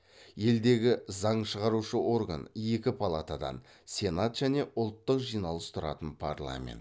елдегі заң шығарушы орган екі палатадан сенат және ұлттық жиналыс тұратын парламент